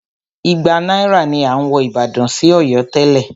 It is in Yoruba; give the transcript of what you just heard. Igba náírà ni à ń wọ ìbàdàn sí Ọ̀yọ́ tẹ́lẹ̀.